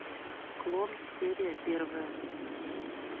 клон серия первая